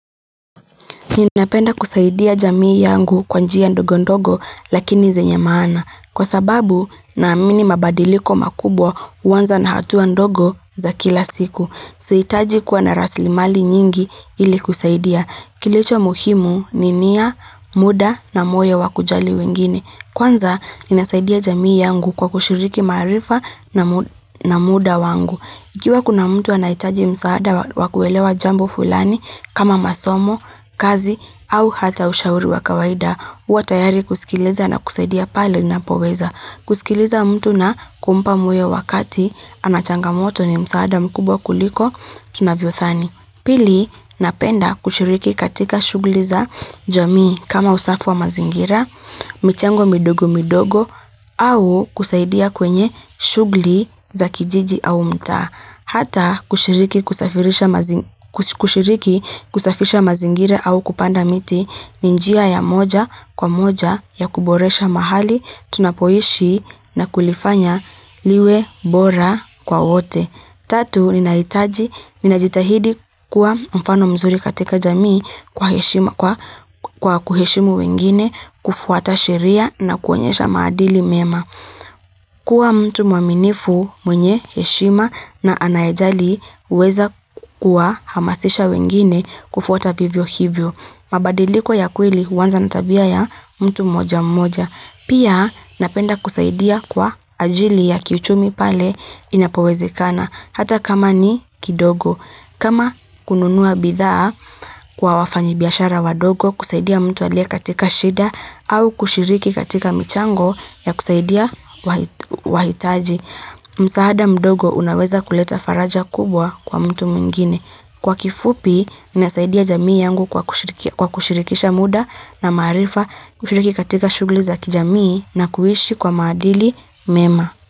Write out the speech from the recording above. Ninapenda kusaidia jamii yangu kwa njia ndogo ndogo lakini zenye maana. Kwa sababu naamini mabadiliko makubwa huanza na hatua ndogo za kila siku. Sihitaji kuwa na rasili mali nyingi ili kusaidia. Kilicho muhimu ni nia muda na moyo wa kujali wengine. Kwanza, ninasaidia jamii yangu kwa kushiriki maarifa na muda wangu. Ikiwa kuna mtu anahitaji msaada wa kuelewa jambo fulani kama masomo, kazi, au hata ushauri wa kawaida. Huwa tayari kusikiliza na kusaidia pale napoweza. Kusikiliza mtu na kumpa moyo wakati, ana changamoto ni msaada mkubwa kuliko, tunavyodhani. Pili, napenda kushiriki katika shughuli za jamii kama usafi wa mazingira, michango midogo midogo au kusaidia kwenye shughuli za kijiji au mtaa. Hata kushiriki kusafisha mazingira au kupanda miti ni njia ya moja kwa moja ya kuboresha mahali tunapoishi na kulifanya liwe bora kwa wote. Tatu, ninahitaji, ninajitahidi kuwa mfano mzuri katika jamii kwa kuheshimu wengine kufuata sheria na kuonyesha maadili mema. Kuwa mtu mwaminifu mwenye, heshima na anayejali huweza kuwa hamasisha wengine kufuata vivyo hivyo. Mabadiliko ya kweli huanza na tabia ya mtu mmoja mmoja. Pia napenda kusaidia kwa ajili ya kiuchumi pale inapowezekana, hata kama ni kidogo. Kama kununua bidhaa kwa wafanyibiashara wadogo kusaidia mtu aliye katika shida au kushiriki katika michango ya kusaidia wahitaji. Msahada mdogo unaweza kuleta faraja kubwa kwa mtu mwingine. Kwa kifupi, nasaidia jamii yangu kwa kushirikisha muda na maarifa kushiriki katika shughuli za kijamii na kuishi kwa maadili mema.